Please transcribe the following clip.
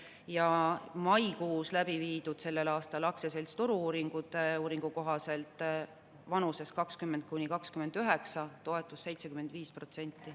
Selle aasta maikuus läbiviidud Turu-uuringute Aktsiaseltsi uuringu kohaselt oli vanuses 20–29 toetus 75%.